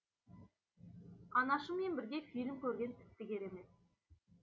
анашыммен бірге фильм көрген тіпті керемет